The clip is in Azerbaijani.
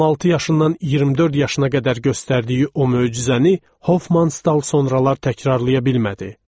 16 yaşından 24 yaşına qədər göstərdiyi o möcüzəni Hofmanstal sonralar təkrarlaya bilmədi.